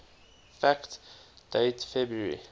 fact date february